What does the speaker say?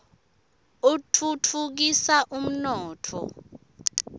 atfutfukisa umnotfo